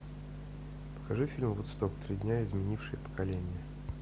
покажи фильм вудсток три дня изменившие поколения